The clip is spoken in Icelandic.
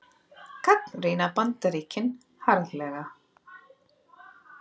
Gagnrýna Bandaríkin harðlega